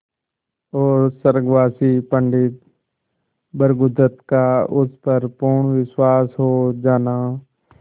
और स्वर्गवासी पंडित भृगुदत्त का उस पर पूर्ण विश्वास हो जाना